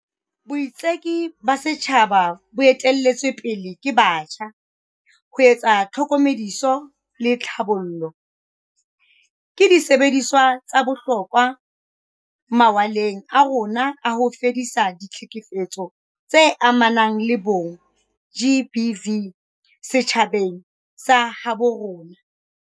Boitseki ba setjhaba bo ete-lletsweng pele ke batjha, ho etsa tlhokomediso le tlhabollano, ke disebediswa tsa bohlokwa mawaleng a rona a ho fedisa ditlhekefetso tse amanang le bong, GBV, setjhabeng sa habo rona.